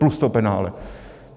Plus to penále.